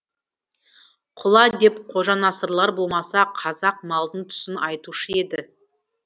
құла деп қожанасырлар болмаса қазақ малдың түсін айтушы еді